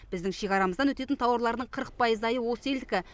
біздің шекарамыздан өтетін тауарларының қырық пайыздайы осы елдікі